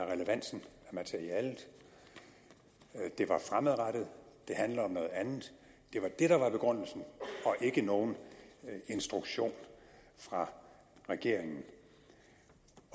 relevansen af materialet det var fremadrettet det handlede om noget andet det var det der var begrundelsen og ikke nogen instruktion fra regeringen